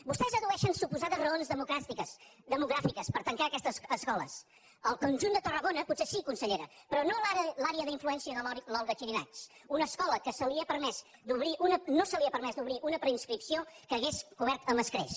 vostès addueixen suposades raons demogràfiques per tancar aquestes escoles al conjunt de tarragona potser sí consellera però no a l’àrea d’influència de l’olga xirinacs una escola que no se li ha permès obrir una preinscripció que hauria cobert amb escreix